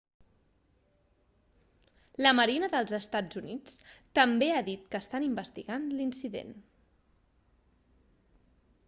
la marina dels eua també ha dit que estan investigant l'incident